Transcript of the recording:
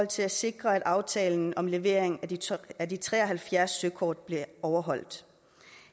til at sikre at aftalen om levering af de tre og halvfjerds søkort bliver overholdt